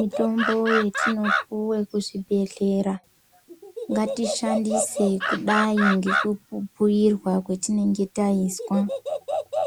Mitombo yetinopuwe kuzvibhedlera ngatishandise kudai ngekubhuyirwa kwetinenge taiswa